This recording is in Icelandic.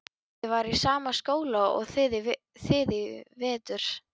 Ég var í sama skóla og þið í vetur.